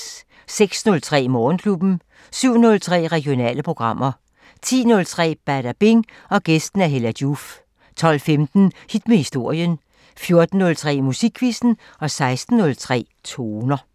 06:03: Morgenklubben 07:03: Regionale programmer 10:03: Badabing: Gæst Hella Joof 12:15: Hit med historien 14:03: Musikquizzen 16:03: Toner